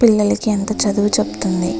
పిల్లలకి ఎంత చదువు చెపుతుంది.